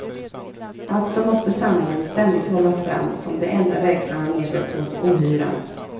Alltså måste sanningen ständigt hållas fram som det enda verksamma medlet mot ohyran.